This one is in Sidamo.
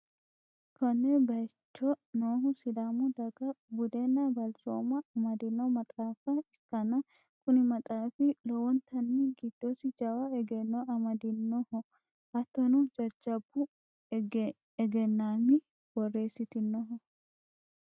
konne bayicho noohu sidaamu dagaha budenna balchooma amadino maxaafa ikkanna, kuni maxaafi lowontanni giddosi jawa egenno amadinoho, hattono jajjabbu egennaami borreessitinoho.